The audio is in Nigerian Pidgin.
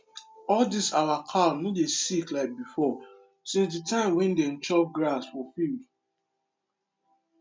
all dis our cow no dey sick like before since the time wey dem dey chop grass for field